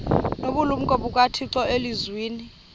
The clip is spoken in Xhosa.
nobulumko bukathixo elizwini